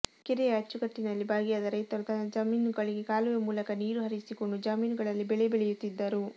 ಕೆರೆಯ ಅಚ್ಚುಕಟ್ಟಿನಲ್ಲಿ ಭಾಗಿಯಾದ ರೈತರು ತಮ್ಮ ಜಮೀನುಗಳಿಗೆ ಕಾಲುವೆ ಮೂಲಕ ನೀರು ಹರಿಸಿಕೊಂಡು ಜಮೀನುಗಳಲ್ಲಿ ಬೆಳೆ ಬೆಳೆಯುತ್ತಿದ್ದರು